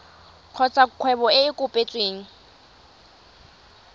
kgotsa kgwebo e e kopetsweng